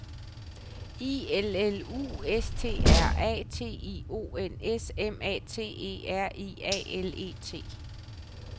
I L L U S T R A T I O N S M A T E R I A L E T